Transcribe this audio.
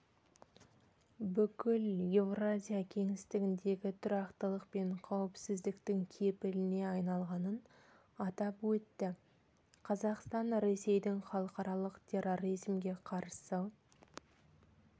бүкіл еуразия кеңістігіндегі тұрақтылық пен қауіпсіздіктің кепіліне айналғанын атап өтті қазақстан ресейдің халықаралық терроризмге қарсы